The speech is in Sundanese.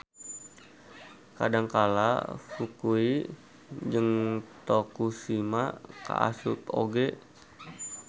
Kadangkala Fukui jeung Tokushima kaasup oge